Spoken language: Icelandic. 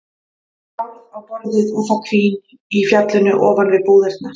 Bárð á borðið og það hvín í fjallinu ofan við búðirnar.